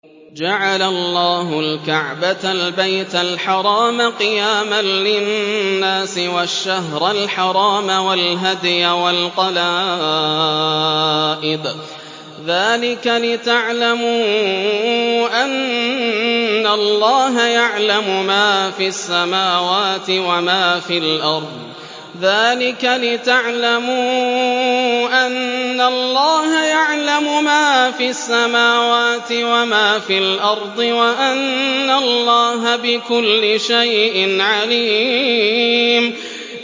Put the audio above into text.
۞ جَعَلَ اللَّهُ الْكَعْبَةَ الْبَيْتَ الْحَرَامَ قِيَامًا لِّلنَّاسِ وَالشَّهْرَ الْحَرَامَ وَالْهَدْيَ وَالْقَلَائِدَ ۚ ذَٰلِكَ لِتَعْلَمُوا أَنَّ اللَّهَ يَعْلَمُ مَا فِي السَّمَاوَاتِ وَمَا فِي الْأَرْضِ وَأَنَّ اللَّهَ بِكُلِّ شَيْءٍ عَلِيمٌ